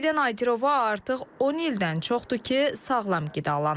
Səidə Nadirova artıq 10 ildən çoxdur ki, sağlam qidalanır.